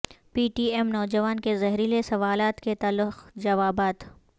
پی T M نوجوان کے زہریلے سوالات کے تلخ جوابات